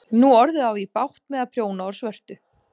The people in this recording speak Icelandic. Nú orðið á ég svo bágt með að prjóna úr svörtu.